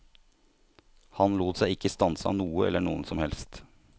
Han lot seg ikke stanse av noe eller noen som helst.